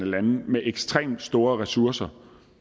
lande med ekstremt store ressourcer